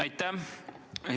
Aitäh!